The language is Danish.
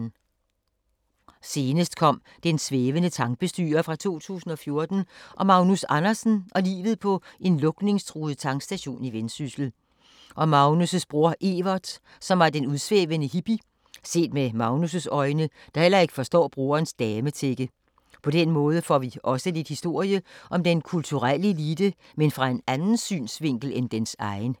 Senest kom Den svævende tankbestyrer fra 2014 om Magnus Andersen og livet på en lukningstruet tankstation i Vendsyssel. Og Magnus’ bror Evert som var en udsvævende hippie, set med Magnus’ øjne, der heller ikke forstår broderens dametække. På den måde får vi også lidt historie om den kulturelle elite, men fra en anden synsvinkel end dens egen.